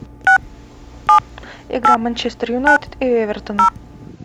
игра манчестер юнайтед и эвертона